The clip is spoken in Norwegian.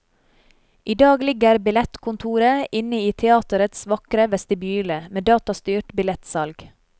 I dag ligger billettkontoret inne i teatrets vakre vestibyle, med datastyrt billettsalg.